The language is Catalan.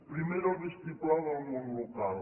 primer era el vistiplau del món local